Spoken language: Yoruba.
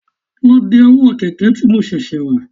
Lọ de ọwọ́ kẹ̀kẹ́ tí mo ṣẹ̀ṣẹ̀ rà